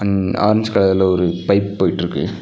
ம் ஆரஞ்சு கலர்ல ஒரு பைப் போய்ட்ருக்கு.